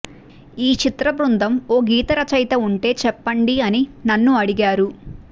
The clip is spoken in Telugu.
ఈ చిత్రబృందం ఓ గీత రచయిత ఉంటే చెప్పండి అని నన్ను అడిగారు